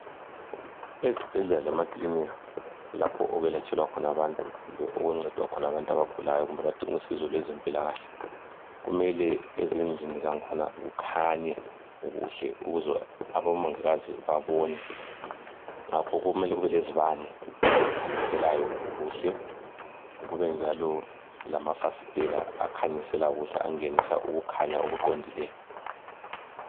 ezibhedlela lema kilinika lapho okwelatshelwa khona abantu kumbe lapho okuncedwa khona abantu abagulayo abadinga usizo lwezempilakale kumele ezindlini zakhona kukhanye kuhle ukuze abomongikazi babone ngakho kumele kube lezibane ezikhanyiselayo kuhle kube njalo lamafasitela akhanyisela kuhle angenisa ukukhanya okuqondileyo